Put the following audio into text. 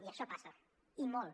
i això passa i molt